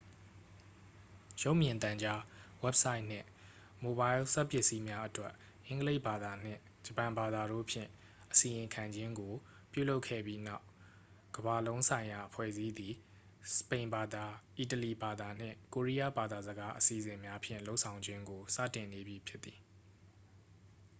"""ရုပ်မြင်သံကြား၊ ဝဘ်ဆိုက်နှင့် မိုဘိုင်းလ်စက်ပစ္စည်းများအတွက် အင်္ဂလိပ်ဘာသာနှင့် ဂျပန်ဘာသာတို့ဖြင့် အစီရင်ခံခြင်းကို ပြုလုပ်ခဲ့ပြီးနောက်ကမ္ဘာ့လုံးဆိုင်ရာအဖွဲ့အစည်းသည် စပိန်ဘာသာ၊ အီတလီဘာသာနှင့် ကိုရီယားဘာသာစကား အစီအစဉ်များဖြင့် လုပ်ဆောင်ခြင်းကို စတင်နေပြီဖြစ်သည်။""